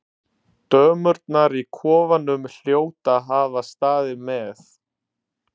Dömurnar í kofanum hljóta að hafa staðið með